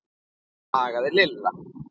klagaði Lilla.